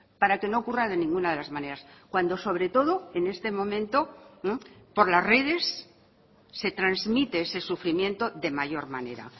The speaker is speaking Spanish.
para que no ocurra de ninguna de las maneras cuando sobre todo en este momento por las redes se transmite ese sufrimiento de mayor manera